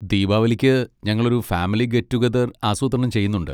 ദീപാവലിക്ക് ഞങ്ങളൊരു family get together ആസൂത്രണം ചെയ്യുന്നുണ്ട്.